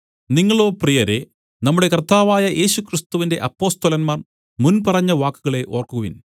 നിങ്ങളോ പ്രിയരേ നമ്മുടെ കർത്താവായ യേശുക്രിസ്തുവിന്റെ അപ്പൊസ്തലന്മാർ മുൻപറഞ്ഞ വാക്കുകളെ ഓർക്കുവിൻ